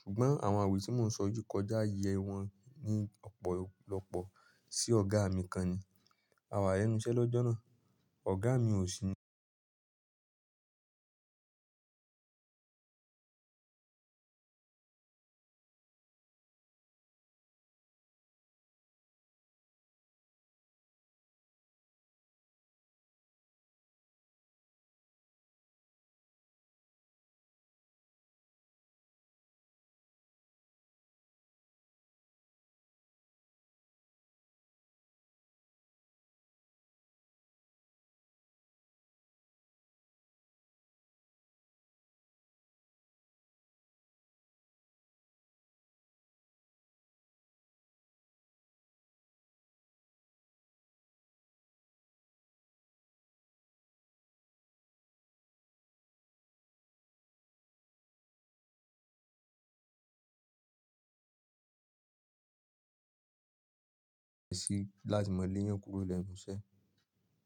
Ṣùgbọ́n àwọn àwẹ́ tí mò ń sọ yìí kọjá ààyè wọn ní ọ̀pọ̀lọpọ̀ sí ọ̀gá mi kan ni. A wà lẹ́nu iṣẹ́ lọ́jọ́ náà. Ọ̀gá mi ò sí ní ọ̀dọ̀. Ṣé ẹ ṣì máa lè yàn kúrò lẹ́nu iṣẹ́?